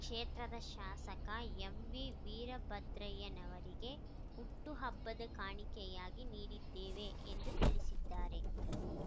ಕ್ಷೇತ್ರದ ಶಾಸಕ ಎಂವಿ ವೀರಭದ್ರಯ್ಯನವರಿಗೆ ಹುಟ್ಟು ಹಬ್ಬದ ಕಾಣಿಕೆಯಾಗಿ ನೀಡಿದ್ದೇವೆ ಎಂದು ತಿಳಿಸಿದ್ದಾರೆ